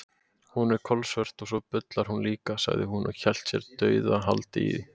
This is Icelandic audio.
Hún er kolsvört og svo bullar hún líka, sagði hún og hélt sér dauðahaldi í